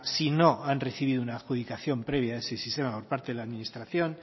si no han recibido una adjudicación previa a ese sistema por parte de la administración